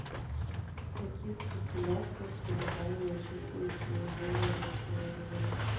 в каких популяциях колебания численности наиболее резко выражены